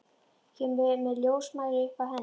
Kemur með ljósmæli upp að henni.